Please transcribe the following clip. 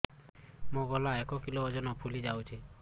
ମୋ ଗଳା ଏକ କିଲୋ ଓଜନ ଫୁଲି ଯାଉଛି